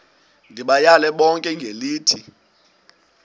ndibayale bonke ngelithi